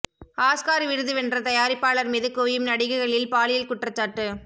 Oscar விருது வென்ற தயாரிப்பாளர் மீது குவியும் நடிகைகளில் பாலியல் குற்றச்சாட்டு